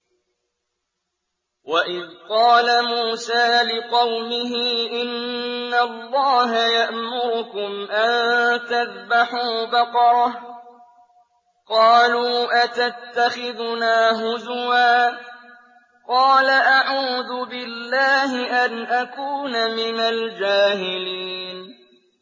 وَإِذْ قَالَ مُوسَىٰ لِقَوْمِهِ إِنَّ اللَّهَ يَأْمُرُكُمْ أَن تَذْبَحُوا بَقَرَةً ۖ قَالُوا أَتَتَّخِذُنَا هُزُوًا ۖ قَالَ أَعُوذُ بِاللَّهِ أَنْ أَكُونَ مِنَ الْجَاهِلِينَ